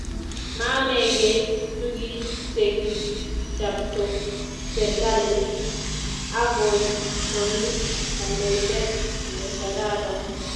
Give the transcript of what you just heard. Maamekei tukichekikichapto serkalit, akoi komi kandoindet ne kararan